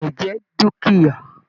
Ilẹ́ jẹ dukia.